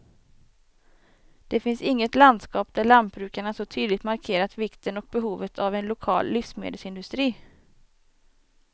Det finns inget landskap där lantbrukarna så tydligt markerat vikten och behovet av en lokal livsmedelsindustri.